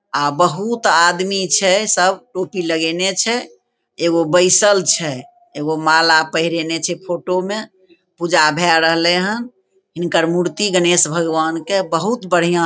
आ बहुत आदमी छै सब टोपी लगेएने छै एगो बैसल छै एगो माला पहरेएने छै फोटो में पूजा भए रहले हेय हिनकर मूर्ति गणेश भगवान के बहुत बढ़िया --